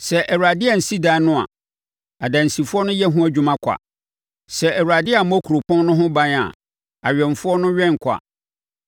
Sɛ Awurade ansi ɛdan no a, adansifoɔ no yɛ ho adwuma kwa. Sɛ Awurade ammɔ kuropɔn no ho ban a, awɛmfoɔ no wɛn kwa.